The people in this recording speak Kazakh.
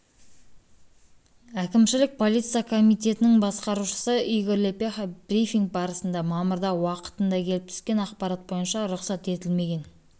әкімшілік полиция комитетінің басқарушысы игорь лепеха брифинг барысында мамырда уақытында келіп түскен ақпарат бойынша рұқсат етілмеген